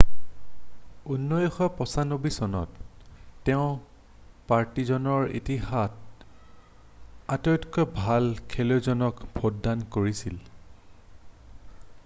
1995 চনত তেওঁ পাৰ্টিজানৰ ইতিহাসত আটাইতকৈ ভাল খেলুৱৈজনক ভোটদান কৰিছিল৷